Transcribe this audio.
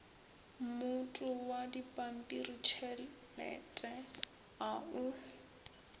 mmoto wa dipampiritšhelete a o